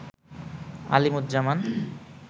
Alimuzzaman